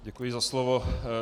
Děkuji za slovo.